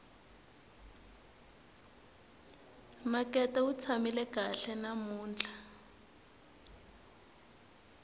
makete wu tshamile kahle namuntlha